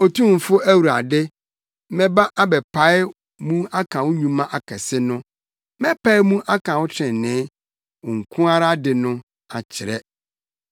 Otumfo Awurade, mɛba abɛpae mu aka wo nnwuma akɛse no; mɛpae mu aka wo trenee, wo nko ara de no, akyerɛ.